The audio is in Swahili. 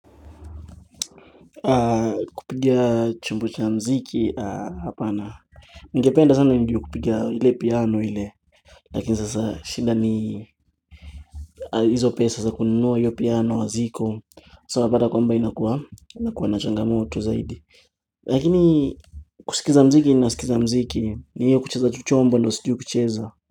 Kupiga chumbo cha muziki, hapana. Ningapenda sana nijue kupiga ile piano ile. Lakin sasa shida ni Izo pesa za kununua io piano haziko. Sawa unapata kwamba inakua inakua na changamoto zaidi. Lakini kusikiza muziki ninasikiza mziki. Ni io kucheza tu chombo ndio sijui kucheza.